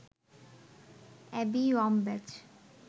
Abby Wambach